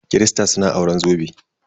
Kirista suna auren zobe.